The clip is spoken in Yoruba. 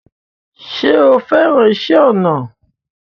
Ṣé o fẹ́ràn iṣẹ́ ọnà?